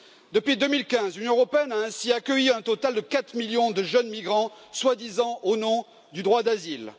Depuis 2015, l'Union européenne a ainsi accueilli un total de 4 millions de jeunes migrants, soi disant au nom du droit d'asile.